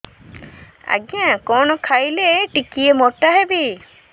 ଆଜ୍ଞା କଣ୍ ଖାଇଲେ ଟିକିଏ ମୋଟା ହେବି